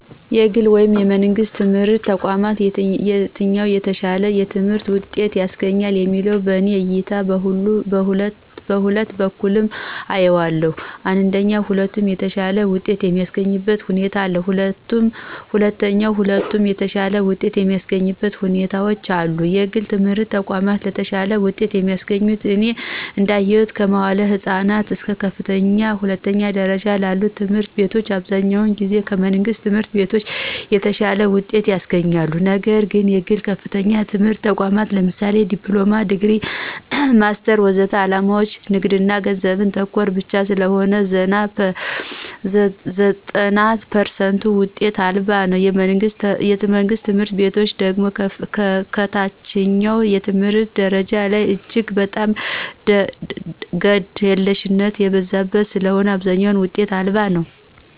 ከግል ወይም ከመንግሥት የትምህርት ተቋማት የትኛው የተሻለ የትምህርት ውጤት ያስገኛል የሚለው በእኔ እይታ በሁለት መልኩ አየዋለሁ አንደኛ ሁለቱም የተሻለ ውጤት የሚስገኙበት ሁኔታ አለ። ሁለተኛ ሁለቱም የተሻለ ውጤት የማያሰገኙበት ሁኔታዎች አሉ። የግል የትምህረት ተቋማት የተሻለ ውጤት የሚያስገኙት እኔ እዳየሁት ከመዋዕለ ህፃናት እስከ ከፍተኛ ሁለተኛ ደረጃ ላሉ ትምህርት ቤቶች አብዛኛውን ጊዜ ከመንግሥት ትምህርት ቤቶች የተሻለ ውጤት ያስገኛሉ። ነግር ግን የግል ከፍተኛ የትምህርት ተቋማት ለምሳሌ ዲፕሎማ፣ ዲግሪ፣ ማስተር ወዘተ ዓላማቸው ንግድና ገንዘብ ተኮር ብቻ ስለሆነ ዘጠና ፐርሰንቱ ውጤት አልባ ነው። የመንግስት ትምህርት ቤቶች ደግሞ ከታችኛው የትምህርት ደረጃ ላይ እጅግ በጣም ግደለሽነቶች የበዙበት ስለሆነ አብዛኛው ውጤት አልባ ነው።